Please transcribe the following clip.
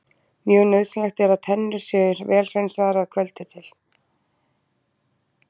Mjög nauðsynlegt er að tennur séu vel hreinsaðar að kvöldi til.